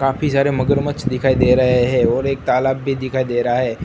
काफी सारे मगरमच्छ दिखाई दे है और एक तालाब भी दिखाई दे रहा है